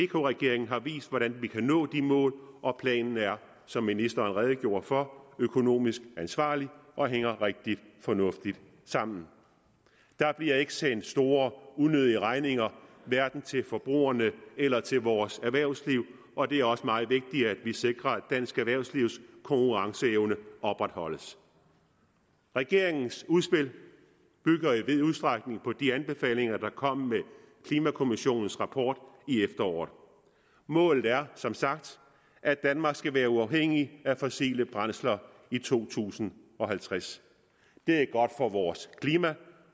regeringen har vist hvordan vi kan nå de mål og planen er som ministeren redegjorde for økonomisk ansvarlig og hænger rigtig fornuftigt sammen der bliver ikke sendt store unødige regninger hverken til forbrugerne eller til vores erhvervsliv og det er også meget vigtigt at vi sikrer at dansk erhvervslivs konkurrenceevne opretholdes regeringens udspil bygger i vid udstrækning på de anbefalinger der kom med klimakommissionens rapport i efteråret målet er som sagt at danmark skal være uafhængigt af fossile brændsler i to tusind og halvtreds det er godt for vores klima